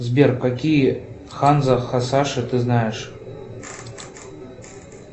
сбер какие ханзо хасаши ты знаешь